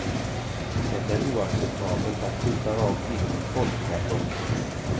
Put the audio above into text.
Det är oacceptabelt att skjuta rakt in i ett folktätt område.